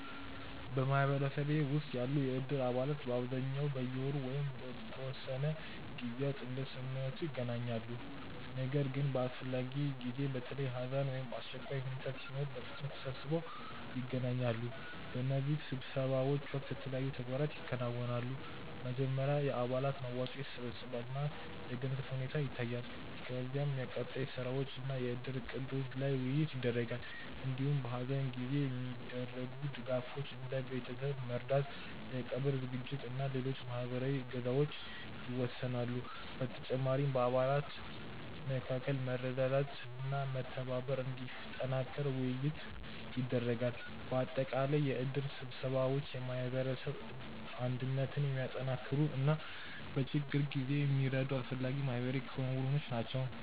በማህበረሰቤ ውስጥ ያሉ የእድር አባላት በአብዛኛው በየወሩ ወይም በተወሰኑ ጊዜያት እንደ ስምምነቱ ይገናኛሉ። ነገር ግን በአስፈላጊ ጊዜ፣ በተለይ ሐዘን ወይም አስቸኳይ ሁኔታ ሲኖር በፍጥነት ተሰብስበው ይገናኛሉ። በእነዚህ ስብሰባዎች ወቅት የተለያዩ ተግባራት ይከናወናሉ። መጀመሪያ የአባላት መዋጮ ይሰበሰባል እና የገንዘብ ሁኔታ ይታያል። ከዚያ የቀጣይ ስራዎች እና የእድር እቅዶች ላይ ውይይት ይደረጋል። እንዲሁም በሐዘን ጊዜ የሚደረጉ ድጋፎች፣ እንደ ቤተሰብ መርዳት፣ የቀብር ዝግጅት እና ሌሎች ማህበራዊ እገዛዎች ይወሰናሉ። በተጨማሪም በአባላት መካከል መረዳዳትና መተባበር እንዲጠናከር ውይይት ይደረጋል። በአጠቃላይ የእድር ስብሰባዎች የማህበረሰብ አንድነትን የሚያጠናክሩ እና በችግር ጊዜ የሚረዱ አስፈላጊ ማህበራዊ ክንውኖች ናቸው።